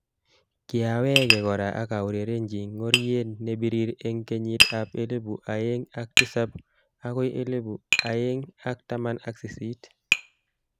Kiaweke kora akaurerenji ngoriet ne birir eng kenyit ab elinu aeng ak tisab akoi elinu aeng ak taman ak sisit.